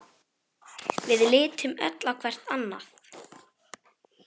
Við litum öll hvert á annað.